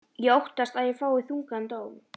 Ég óttast að ég fái þungan dóm.